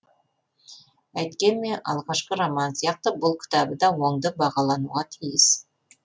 әйткенмен алғашқы романы сияқты бұл кітабы да оңды бағалануға тиіс